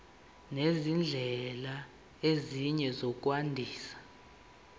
nezindlela ezinye zokwandisa